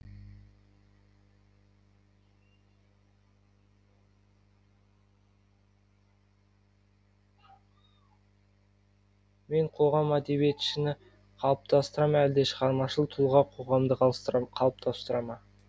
мен қоғам әдебиетшіні қалыптастыра ма әлде шығармашыл тұлға қоғамды қалыптастыра ма